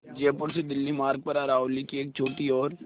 जयपुर से दिल्ली मार्ग पर अरावली की एक छोटी और